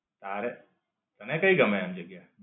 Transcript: તારે? તને કઈ ગમે એમ જગ્યા?